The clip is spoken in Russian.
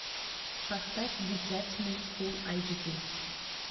поставь дитя тьмы фулл айч ди